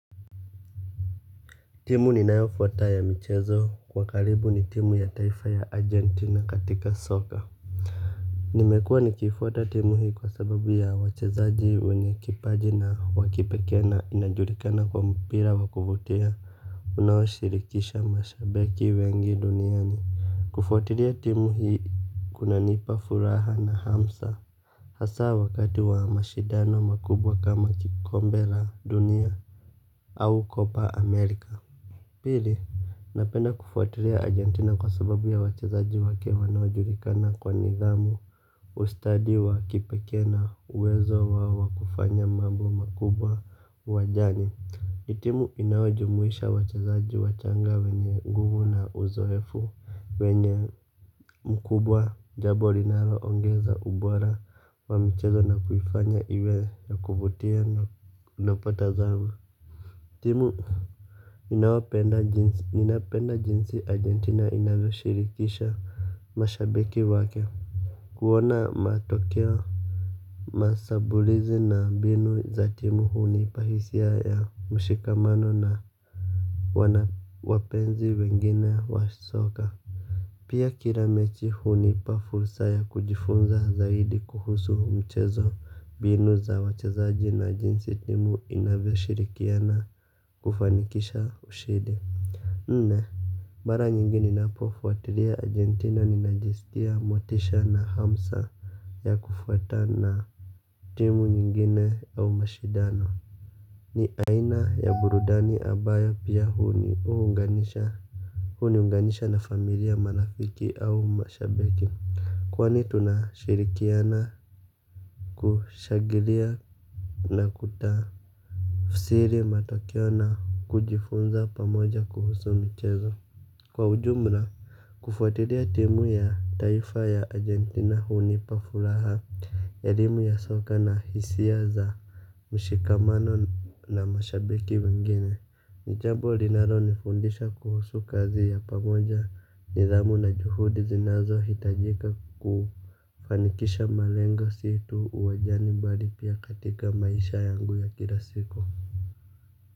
Timu ninayofuata ya michezo kwa karibu ni timu ya taifa ya Argentina katika soka. Nimekuwa nikiifuata timu hii kwa sababu ya wachezaji wenye kipaji na wa kipekee na inajulikana kuwa mpira wa kuvutia unaoshirikisha mashabiki wengi duniani. Kufuatilia timu hii kunanipa furaha na hamu sa hasaa wakati wa mashindano makubwa kama kikombe la dunia. Au kopa Amerika. Pili, napenda kufuatiria Argentina kwa sababu ya wachezaji wake wanojulikana kwa nidhamu ustadi wa kipekee na uwezo wao wa kufanya mambo makubwa uwanjani. Ni timu inayojumuisha wachezaji wachanga wenye nguvu na uzoefu wenye mkubwa jambo linaloongeza ubora wa mchezo na kuifanya iwe ya kuvutia na napata zamu. Timu. Ninapenda jinsi argentina inavyoshirikisha mashabiki wake. Kuona matokeo mashambulizi na mbinu za timu hunipa hisia ya ya mshikamano na wana wapenzi wengine wa soka. Pia kila mechi hunipa fursa ya kujifunza zaidi kuhusu michezo mbinu za wachezaji na jinsi timu inavyoshirikiana kufanikisha ushindi. Nne mara nyingi ninapofuatilia argentina ninajisikia motisha na hamsa ya kufuata na timu nyingine au mashindano. Ni aina ya burudani ambayo pia huniunganisha. Huniunganisha na familia marafiki au mashabiki. Kwani tunashirikiana kushangilia na kutafsiri matokeo na kujifunza pamoja kuhusu michezo. Kwa ujumla kufuatiria timu ya taifa ya Argentina hunipa furaha. Elimu ya soka na hisia za mshikamano na mashabiki wengine. Ni jambo linalonifundisha kuhusu kazi ya pamoja nidhamu na juhudi zinazohitajika kufanikisha malengo si tu uwanjani mbali pia katika maisha yangu ya kila siku Muzika.